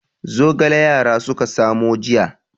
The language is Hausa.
Zogale yara suka samo jiya.